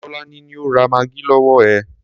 Tọ́lání ni ó ra maggi lọwọ ẹ.